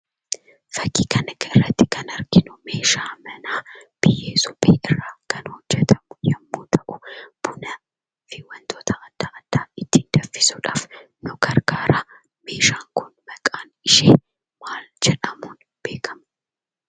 Fakkii kanarraatti kan arginu meeshaa manaa biyyee suphee irraa kan hojjatamu yommuu ta'u, Bunafi wantoota adda addaa itti danfisuudhaaf nu gargaaraa. Meeshaan kun maqaan ishee maal jedhamuun beekkamti?